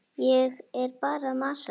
Ég er bara að masa.